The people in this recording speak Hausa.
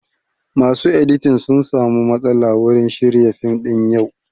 Masu editing sun samu matsala wurin shirya fim ɗin yau